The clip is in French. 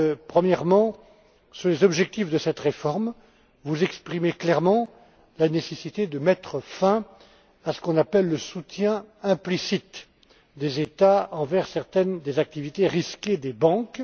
Premièrement, sur les objectifs de cette réforme, vous exprimez clairement la nécessité de mettre fin à ce qu'on appelle le soutien implicite des États envers certaines des activités risquées des banques.